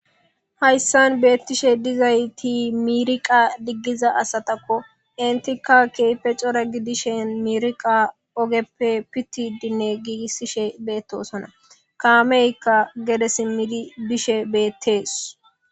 Haysan betishe dizayti miriqa digiza asatako entika kehipe c'ora gidishin miriqa ogepe pitidine gigisishe betosona kameyka gede simidi bishe betes.